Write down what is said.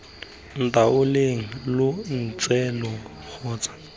ntaoleng lo ntse lo tsoga